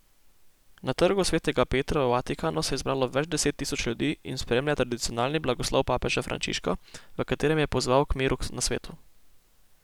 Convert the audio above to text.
Na Trgu svetega Petra v Vatikanu se je zbralo več deset tisoč ljudi in spremlja tradicionalni blagoslov papeža Frančiška, v katerem je pozval k miru na svetu.